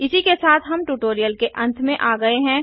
इसी के साथ हम ट्यूटोरियल के अंत में आ गये हैं